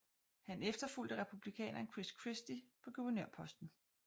Han efterfulgte republikaneren Chris Christie på guvernørposten